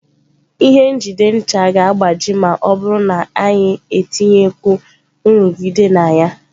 Ihe njide ncha ga-agbaji ma ọ bụrụ na anyị etinyekwu nrụgide na ya.